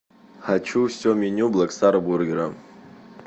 хочу все меню блэк стар бургера